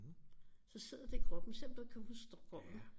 Så sidder det i kroppen selvom du ikke kan huske drømmen